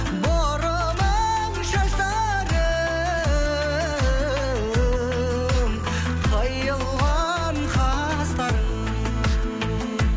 бұрымың шаштарың қиылған қастарың